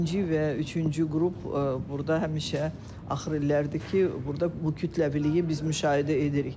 Birinci və üçüncü qrup burda həmişə axır illərdir ki, burda bu kütləviliyi biz müşahidə edirik.